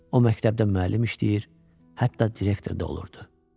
O məktəbdə müəllim işləyir, hətta direktor da olurdu.